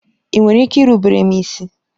Ị nwere ike irubere m isi?